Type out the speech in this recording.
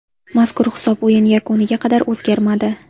Mazkur hisob o‘yin yakuniga qadar o‘zgarmadi.